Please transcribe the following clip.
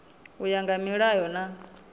u ya nga milayo na